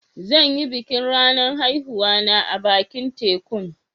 Zan yi bikin ranan haihuwa na a'bakin tekun.